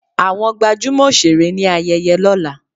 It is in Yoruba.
Àwọn gbajúmọ̀ òṣèré ní ayẹyẹ lọ́la.